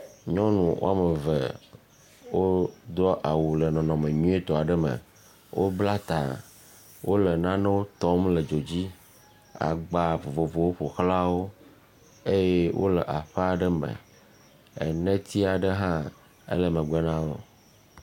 Nyɔnu woame ve wodo le nɔnɔme nyuitɔ aɖe me. Wobla ta. Wole nanewo tɔm le dzodzi. Agba vovovowo ƒo ʋla wo eye wole aƒea ɖe me. Enetsi aɖe hã ele megbe na wo.